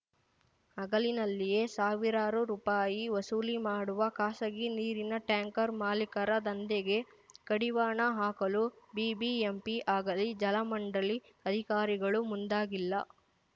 ಹಗಲಿನಲ್ಲಿಯೇ ಸಾವಿರಾರು ರೂಪಾಯಿ ವಸೂಲಿ ಮಾಡುವ ಖಾಸಗಿ ನೀರಿನ ಟ್ಯಾಂಕರ್ ಮಾಲೀಕರ ದಂಧೆಗೆ ಕಡಿವಾಣ ಹಾಕಲು ಬಿಬಿಎಂಪಿ ಆಗಲಿ ಜಲಮಂಡಳಿ ಅಧಿಕಾರಿಗಳು ಮುಂದಾಗಿಲ್ಲ